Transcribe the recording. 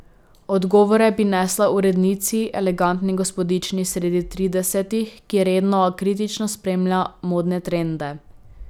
Odgovore bi nesla urednici, elegantni gospodični sredi tridesetih, ki redno, a kritično spremlja modne trende.